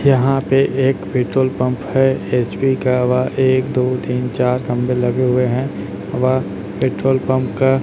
यहां पे एक पेट्रोल पंप है एच_पी का व एक दो तीन चार खंबे लगे हुए है व पेट्रोल पंप का--